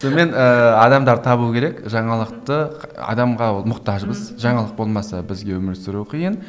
сонымен ыыы адамдар табу керек жаңалықты адамға ол мұқтажбыз жаңалық болмаса бізге өмір сүру қиын